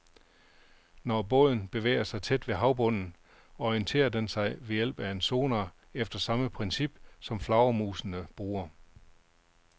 Når båden bevæger sig tæt ved havbunden, orienterer den sig ved hjælp af en sonar efter samme princip, som flagermusene bruger.